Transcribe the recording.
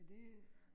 Er det øh